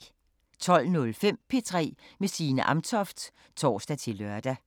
12:05: P3 med Signe Amtoft (tor-lør)